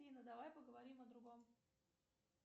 афина давай поговорим о другом